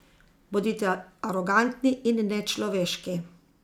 Bodite arogantni in nečloveški.